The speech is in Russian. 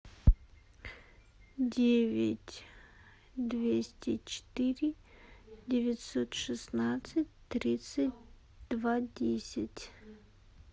девять двести четыре девятьсот шестнадцать тридцать два десять